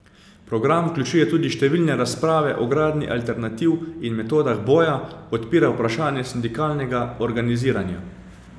Program vključuje tudi številne razprave o gradnji alternativ in metodah boja, odpira vprašanje sindikalnega organiziranja.